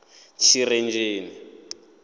tshirenzheni